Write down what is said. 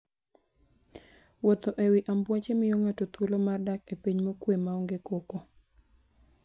Wuotho e wi ambuoche miyo ng'ato thuolo mar dak e piny mokuwe maonge koko.